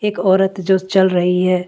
एक औरत जो चल रही है।